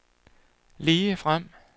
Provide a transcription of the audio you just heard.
ligefrem